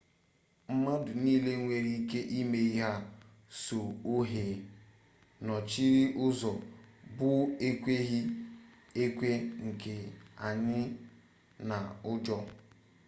mmadụ nile nwere ike ịma ihe sọ ohe nọchiri ụzọ bụ ekweghị ekwe nke anyi na ụjọ